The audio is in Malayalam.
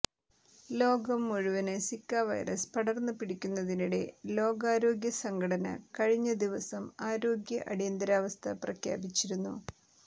ലോകം മുഴുവന് സിക വൈറസ് പടര്ന്ന് പിടിക്കുന്നതിനിടെ ലോകാരോഗ്യ സംഘടന കഴിഞ്ഞ ദിവസം ആരോഗ്യ അടിയന്തരാവസ്ഥ പ്രഖ്യാപിച്ചിരുന്നു